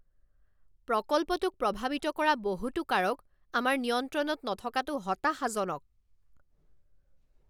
প্ৰকল্পটোক প্ৰভাৱিত কৰা বহুতো কাৰক আমাৰ নিয়ন্ত্ৰণত নথকাটো হতাশাজনক।